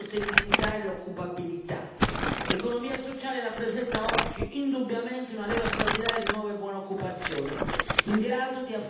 L'economia sociale rappresenta oggi indubbiamente una leva straordinaria di nuova e buona occupazione in grado di affrontare le sfide del mercato.